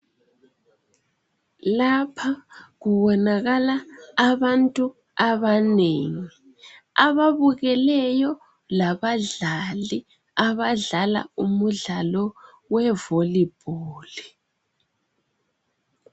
Lapha kubonakala abantu abanengi ababukeleyo labadlali abadlala umdlalo wevolibholi.